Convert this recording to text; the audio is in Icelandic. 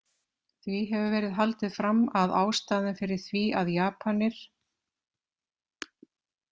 Því hefur verið haldið fram að ástæðan fyrir því að Japanir.